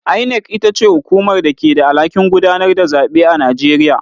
INEC ita ce hukumar da ke da alhakin gudanar da zaɓe a Najeriya.